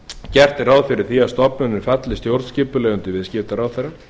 gert er ráð fyrir því að stofnunin falli stjórnskipulega undir viðskiptaráðherra